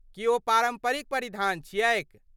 की ओ पारम्परिक परिधान छियैक?